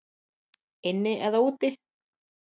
Inni eða úti?